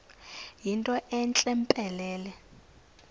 yinto entle mpelele